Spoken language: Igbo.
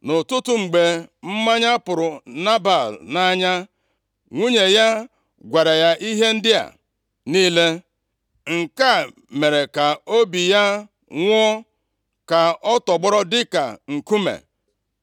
Nʼụtụtụ, mgbe mmanya pụrụ Nebal nʼanya, nwunye ya gwara ya ihe ndị a niile. Nke a mere ka obi ya nwụọ, ka ọ tọgbọrọ dịka nkume.